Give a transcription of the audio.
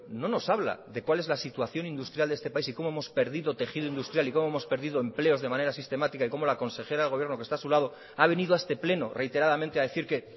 no nos habla de cuál es la situación industrial de este país y cómo hemos perdido tejido industrial y cómo hemos perdido empleos de manera sistemática y cómo la consejera de gobierno que está a su lado ha venido a este pleno reiteradamente a decir que